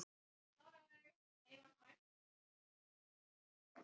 Kvöldverður var framreiddur í stássstofunni sem var þröng og dauflega lýst.